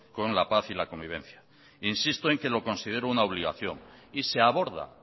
con la paz y la convivencia insisto en que lo considero una obligación y se aborda